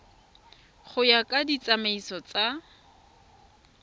go ya ka ditsamaiso tsa